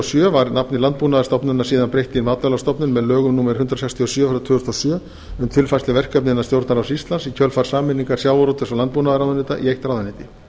sjö var nafni landbúnaðarstofnunar síðan breytt í matvælastofnun með lögum númer hundrað sextíu og sjö tvö þúsund og sjö um tilfærslu verkefna innan stjórnarráðs íslands í kjölfar sameiningar sjávarútvegs og landbúnaðarráðuneyta í eitt ráðuneyti